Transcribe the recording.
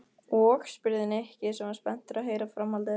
Og? spurði Nikki sem var spenntur að heyra framhaldið.